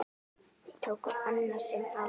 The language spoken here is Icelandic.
Við tóku annasöm ár.